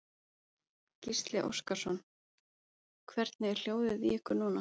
Gísli Óskarsson: Hvernig er hljóðið í ykkur núna?